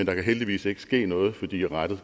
kan jo heldigvis ikke ske noget fordi rattet